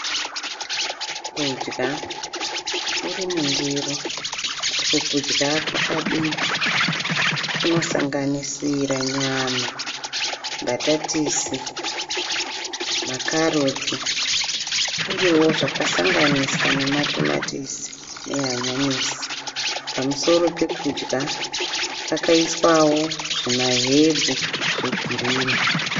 Kudya Kuri mundiro, uku kudya kwakabikwa kunosanganisira nyama, mbatatisi, makarotsi uyewo zvakasanganiswa nematomatisi nehanyanisi . Pamusoro pekudya pakaiswawo zvima hebhu zve girinhi.